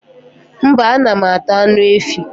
mba, anam ata anụ efi